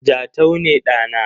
Jatau ne ɗa na.